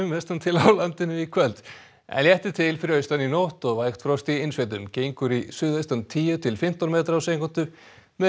vestan til á landinu í kvöld en léttir til fyrir austan í nótt og vægt frost í innsveitum gengur í suðaustan tíu til fimmtán metra á sekúndu með